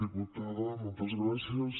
diputada moltes gràcies